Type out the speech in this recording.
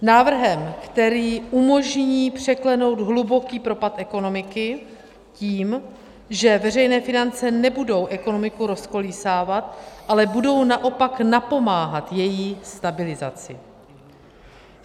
Návrhem, který umožní překlenout hluboký propad ekonomiky tím, že veřejné finance nebudou ekonomiku rozkolísávat, ale budou naopak napomáhat její stabilizaci.